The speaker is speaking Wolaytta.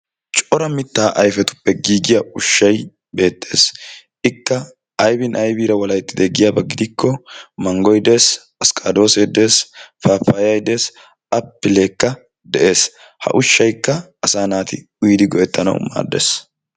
Cora mitta ayfetuppe giigiya ushshay beettees. Ikka aybbi aybbiraa walahettide giyaaba gidikko manggoy dees, askkadose dees, paappay dees, appilekka de'ees. Ha ushshaykka asa naati uyyidi go''ettanawu maaddees.